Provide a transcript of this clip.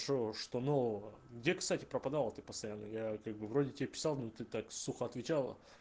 что что нового где кстати пропадала ты постоянно я как бы вроде тебе писал но ты так сухо отвечала